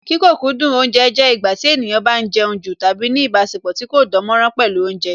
Kí kókúndù oúnje jẹ́ ìgbà tí ènìyàn bá ń jẹun jù tàbí ní ìbáṣepọ̀ tí kò dánmọ́nrán pẹ̀lú Oúnjẹ